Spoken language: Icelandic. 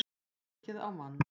Ekið á mann